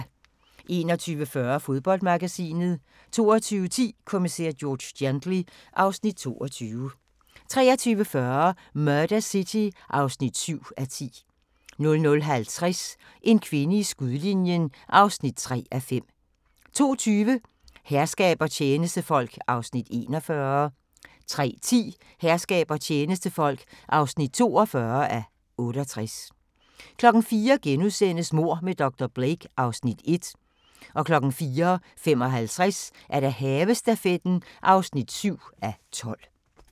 21:40: Fodboldmagasinet 22:10: Kommissær George Gently (Afs. 22) 23:40: Murder City (7:10) 00:50: En kvinde i skudlinjen (3:5) 02:20: Herskab og tjenestefolk (41:68) 03:10: Herskab og tjenestefolk (42:68) 04:00: Mord med dr. Blake (Afs. 1)* 04:55: Havestafetten (7:12)